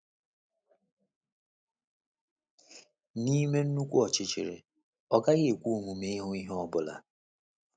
N’ime nnukwu ọchịchịrị, ọ gaghị ekwe omume ịhụ ihe ọ bụla.